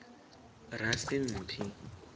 rasimphi